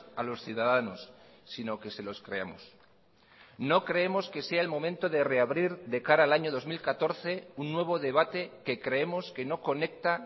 a los ciudadanos sino que se los creamos no creemos que sea el momento de reabrir de cara al año dos mil catorce un nuevo debate que creemos que no conecta